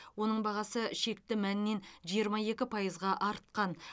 оның бағасы шекті мәннен жиырма екі пайызға артқан